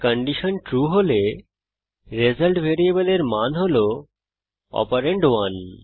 condition true হলে result ভ্যারিয়েবলের মান হল অপারেন্ড 1